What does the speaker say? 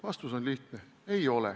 Vastus on lihtne: ei ole.